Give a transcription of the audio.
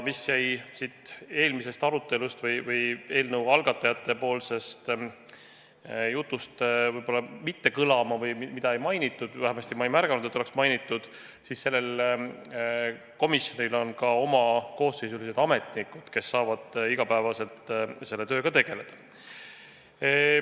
Ja mida eelnõu algataja esindaja jutus siin ei mainitud – vähemasti ma ei märganud, et oleks mainitud –, aga selles komisjonis on ka koosseisulised ametnikud, kes saavad iga päev selle tööga tegeleda.